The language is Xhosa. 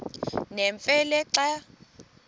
nemfe le xa